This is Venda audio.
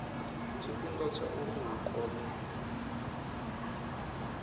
tshifhinga tsha uri hu kone